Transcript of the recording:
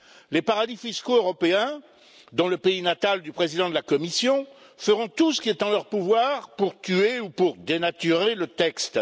Les paradis fiscaux européens, dont le pays natal du président de la Commission, feront tout ce qui est en leur pouvoir pour tuer ou pour dénaturer le texte.